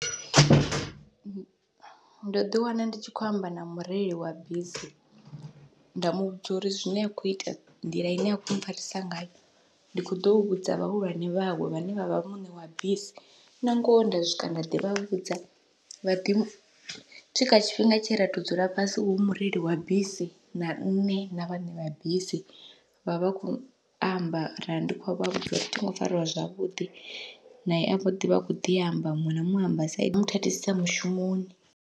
Ndo ḓi wana ndi tshi khou amba na mureili wa bisi nda muvhudza uri zwine a khou ita nḓila ine a khou mpfharisa ngayo, ndi kho ḓo vhudza vhahulwane vhawe vhane vhavha muṋe wa bisi nangoho nda swika nda ḓi vhudza vha ḓi swika tshifhinga tshe ra to dzula fhasi hu mureili wa bisi na nṋe na vhaṋe vha bisi vhavha vha kho amba ra ndi khou vha vhudza uri ṱhingo fariwa zwavhuḓi, nae a ḓi vha a kho ḓi amba muṅwe na muṅwe amba side zwa mboḓi muthathisisa mushumoni.